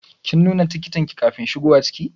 Kin nuna tikitin ki kafin shigowa ciki?